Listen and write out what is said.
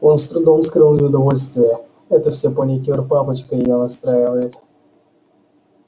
он с трудом скрыл неудовольствие это все паникёр папочка её настраивает